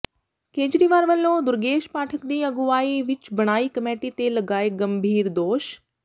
ਕੇਜਰੀਵਾਲ ਵੱਲੋਂ ਦੁਰਗੇਸ਼ ਪਾਠਕ ਦੀ ਅਗੁਵਾਈ ਵਿਚ ਬਣਾਈ ਕਮੇਟੀ ਤੇ ਲਗਾਏ ਗੰਭੀਰ ਦੋਸ਼